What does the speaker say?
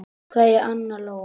Kveðja, Anna Lóa.